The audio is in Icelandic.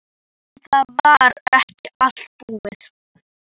En það var ekki allt búið.